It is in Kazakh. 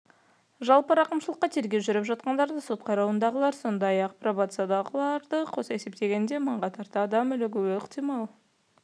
жалпы рақымшылыққа тергеу жүріп жатқандар сот қарауындағылар сондай-ақ пробациядағыларды қоса есептегенде мыңға тарта адам ілігуі ықтимал